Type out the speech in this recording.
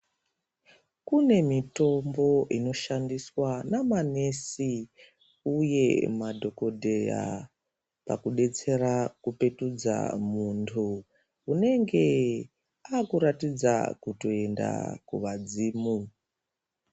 Kune mitombo inoshandiswa namanesi, uye madhokodheya, pakudetsera kupetudza muntu, unenge aakuratidza kutoenda kuvadzimu.